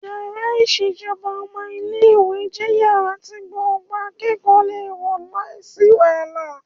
Yàrá ìṣèjọba ọmọ ilé ìwé jẹ́ yàrá tí gbogbo akẹ́kọ̀ọ́ le wọ̀ láìsí wàhálà